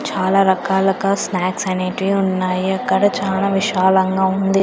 చాలా రకాలుగా స్నాక్స్ అనేటివి ఉన్నాయి అక్కడ చాలా విశాలంగా ఉంది.